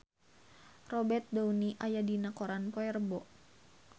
Robert Downey aya dina koran poe Rebo